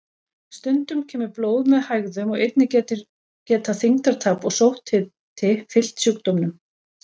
Stundum kemur blóð með hægðum og einnig geta þyngdartap og sótthiti fylgt sjúkdómnum.